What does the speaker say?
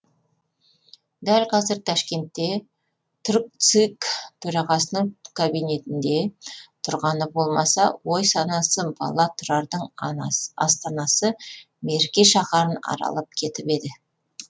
дәл қазір ташкентте туркцик төрағасының кабинетінде тұрғаны болмаса ой санасы бала тұрардың астанасы мерке шаһарын аралап кетіп еді